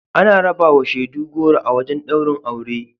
Ana rabawa shaidu goro a wajen ɗaurin aure.